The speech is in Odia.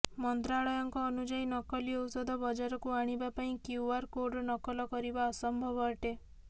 ମନ୍ତ୍ରାଳୟଙ୍କ ଅନୁଯାୟୀ ନକଲି ଔଷଧ ବଜାରକୁ ଆଣିବା ପାଇଁ କ୍ୟୁଆର କୋଡର ନକଲ କରିବା ଅସମ୍ଭବ ଅଟେ